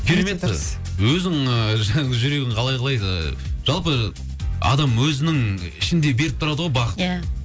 керемет өзің жүрегің қалай қалайды жалпы адам өзінің ішінде беріп тұрады ғой ия бағыт